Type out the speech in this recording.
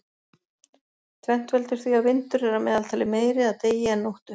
Tvennt veldur því að vindur er að meðaltali meiri að degi en nóttu.